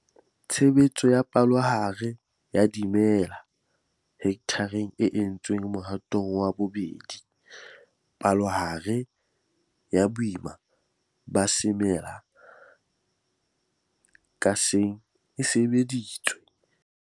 Tshebetso ya palohare ya dimela hekthareng e entswe Mohatong wa 2 - palohare ya boima ba semela ka seng e sebeditswe.